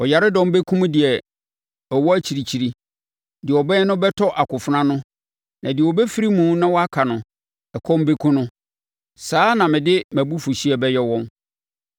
Ɔyaredɔm bɛkum deɛ ɔwɔ akyirikyiri. Deɛ ɔbɛn no bɛtɔ akofena ano na deɛ ɔbɛfiri mu na waka no, ɛkɔm bɛkum no. Saa na mede mʼabufuhyeɛ bɛyɛ wɔn.